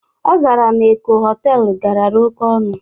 Ọ zara na Eko họtelu garara oké ọnụ